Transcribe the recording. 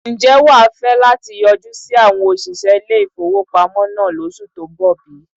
Ǹjẹ́ wà á fẹ́ láti yọjú sí àwon òsìṣẹ́ ilé ìfowópamọ́ náà lóṣù tó ń bọ̀ bí?